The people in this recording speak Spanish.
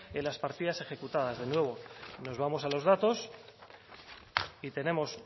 en las partidas ejecutadas de nuevo nos vamos a los datos y tenemos